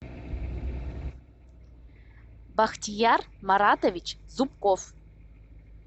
бахтияр маратович зубков